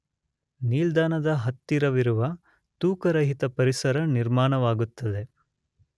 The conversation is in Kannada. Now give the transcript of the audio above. ನಿಲ್ದಾಣದ ಹತ್ತಿರವಿರುವ, ತೂಕರಹಿತ ಪರಿಸರ ನಿರ್ಮಾಣವಾಗುತ್ತದೆ